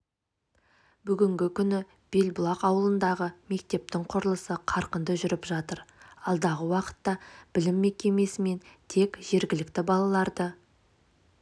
бүгінгі күні белбұлақ ауылындағы мектептің құрылысы қарқынды жүріп жатыр алдағы уақытта білім мекемесімен тек жергілікті балаларды